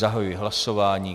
Zahajuji hlasování.